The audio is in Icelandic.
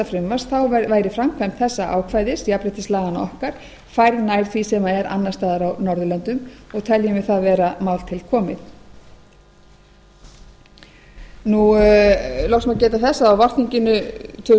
frumvarps væri framkvæmd þessa ákvæðis jafnréttislaganna okkar færð nær því sem er annars staðar á norðurlöndum og teljum við það vera mál til komið loks má geta þess að vakningin tvö þúsund og